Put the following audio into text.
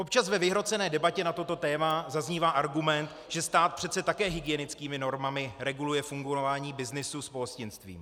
Občas ve vyhrocené debatě na toto téma zaznívá argument, že stát přece také hygienickými normami reguluje fungování byznysu s pohostinstvím.